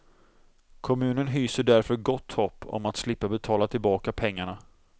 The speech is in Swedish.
Kommunen hyser därför gott hopp om att slippa betala tillbaka pengarna.